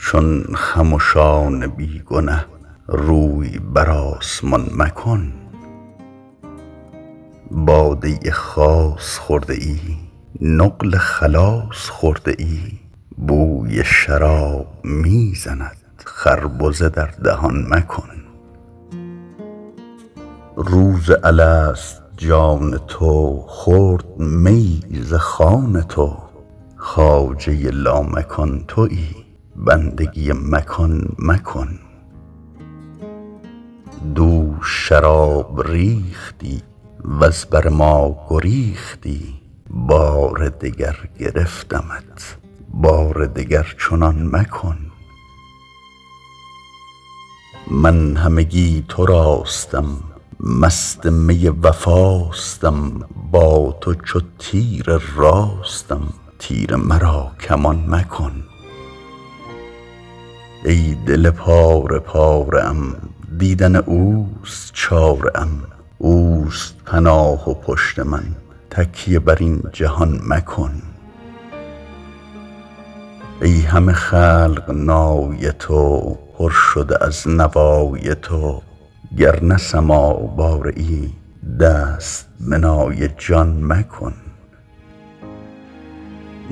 چون خمشان بی گنه روی بر آسمان مکن باده خاص خورده ای نقل خلاص خورده ای بوی شراب می زند خربزه در دهان مکن روز الست جان تو خورد میی ز خوان تو خواجه لامکان تویی بندگی مکان مکن دوش شراب ریختی وز بر ما گریختی بار دگر گرفتمت بار دگر چنان مکن من همگی تراستم مست می وفاستم با تو چو تیر راستم تیر مرا کمان مکن ای دل پاره پاره ام دیدن اوست چاره ام اوست پناه و پشت من تکیه بر این جهان مکن ای همه خلق نای تو پر شده از نوای تو گر نه سماع باره ای دست به نای جان مکن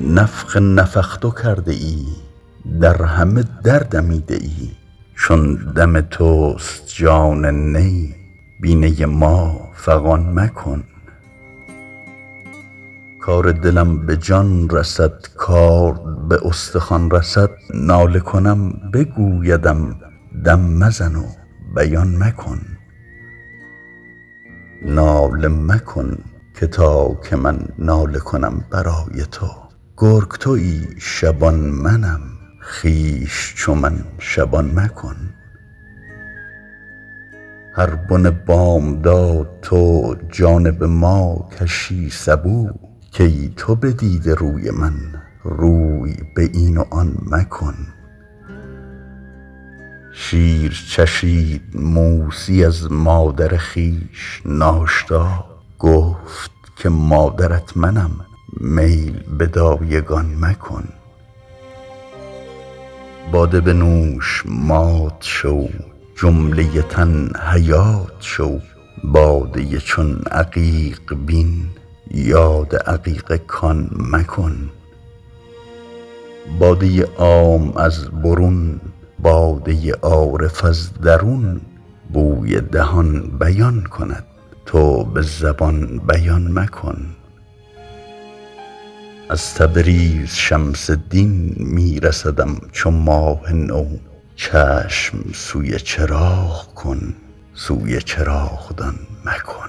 نفخ نفخت کرده ای در همه در دمیده ای چون دم توست جان نی بی نی ما فغان مکن کار دلم به جان رسد کارد به استخوان رسد ناله کنم بگویدم دم مزن و بیان مکن ناله مکن که تا که من ناله کنم برای تو گرگ تویی شبان منم خویش چو من شبان مکن هر بن بامداد تو جانب ما کشی سبو کای تو بدیده روی من روی به این و آن مکن شیر چشید موسی از مادر خویش ناشتا گفت که مادرت منم میل به دایگان مکن باده بنوش مات شو جمله تن حیات شو باده چون عقیق بین یاد عقیق کان مکن باده عام از برون باده عارف از درون بوی دهان بیان کند تو به زبان بیان مکن از تبریز شمس دین می رسدم چو ماه نو چشم سوی چراغ کن سوی چراغدان مکن